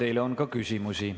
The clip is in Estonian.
Teile on ka küsimusi.